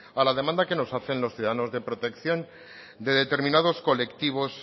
a la demanda que nos hacen los ciudadanos de protección de determinados colectivos